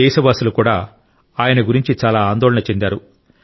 దేశవసూలు కూడా ఆయన గురించి చాలా ఆందోళన చెందారు